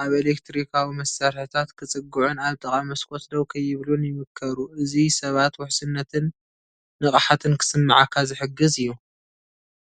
ኣብ ኤሌክትሪካዊ መሳርሒታት ክጽግዑን ኣብ ጥቓ መስኮት ደው ከይብሉን ይምከሩ። እዚ ሰባት ውሕስነትን ንቕሓትን ክስምዓካ ዝሕግዝ እዩ።...